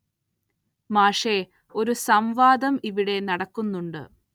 മാഷെ ഒരു സം വാദം ഇവിടെ നടക്കുന്നുണ്ട്